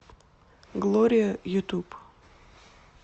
глория ютуб